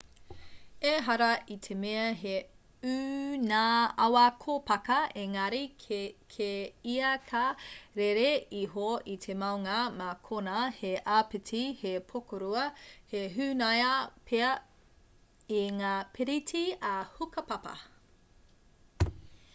ehara i te mea he ū ngā awa kōpaka engari kē ia ka rere iho i te maunga mā konā he āpiti he pokorua ka hunaia pea e ngā piriti ā-hukapapa